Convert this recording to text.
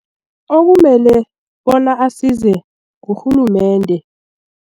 Okumele bona asize ngurhulumende.